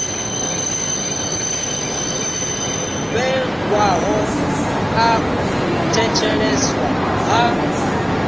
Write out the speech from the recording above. vhewaho ḽa u thetsheleswa ha